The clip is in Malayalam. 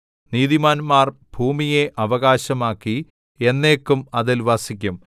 നീതിമാന്മാർ ഭൂമിയെ അവകാശമാക്കി എന്നേക്കും അതിൽ വസിക്കും